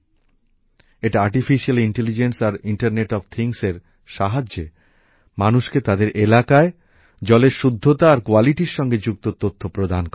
এটি কৃত্রিম মেধা আর ইন্টার্নেট অফ থিংস এর সাহায্যে মানুষকে তাদের এলাকায় জলের শুদ্ধতা আর গুণমান সংক্রান্ত তথ্য প্রদান করে